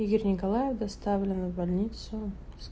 игорь николаев доставлен в больницу